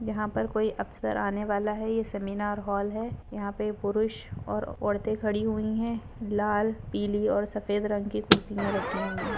यहाँ पर कोई अफ़सर आने वाला है ये सेमीनार हॉल है यहाँ पे पुरुष और औरते खड़ी हुई है लाल पीली और सफेद रंग की कुर्सियाँ रखी हुई है।